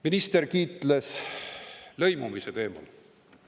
Minister kiitles lõimumise teemal.